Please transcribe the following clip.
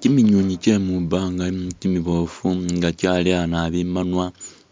Kiminywiinywi kye mwibaanga kimiboofu nga kyaleya nabi i'manwa